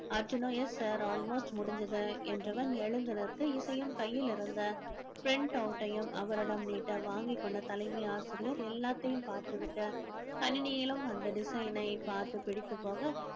அர்ஜுனோ yes sir almost முடிஞ்சது என்றவன் எழுந்து நிற்க இசையும் கையில் இருந்த print out ஐயும் அவரிடம் நீட்ட வாங்கிக் கொண்ட தலைமை ஆசிரியர் எல்லாத்தையும் பார்த்துவிட்டு கணினியிலும் அந்த design ஐ பார்த்து பிடித்து போக